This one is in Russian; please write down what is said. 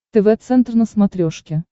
тв центр на смотрешке